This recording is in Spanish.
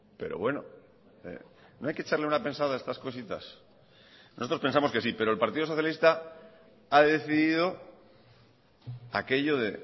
pero bueno no hay que echarle una pensada a estas cositas nosotros pensamos que sí pero el partido socialista ha decidido aquello de